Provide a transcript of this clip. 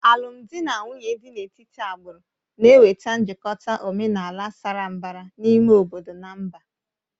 Alụmdi na nwunye dị n'etiti agbụrụ na-enweta njikọta omenala sara mbara n'ime obodo na mba